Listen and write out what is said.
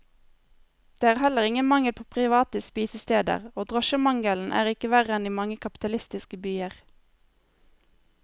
Det er heller ingen mangel på private spisesteder, og drosjemangelen er ikke verre enn i mange kapitalistiske byer.